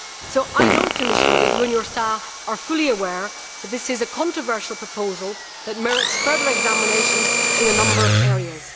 Commissioner, I know that you and your staff are fully aware that this is a controversial proposal that merits further examination in a number of areas.